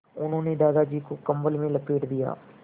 उन्होंने दादाजी को कम्बल में लपेट दिया